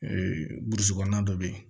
burusi kɔnɔna dɔ bɛ yen